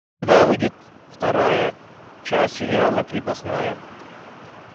когда выйдет вторая часть сериала крепостная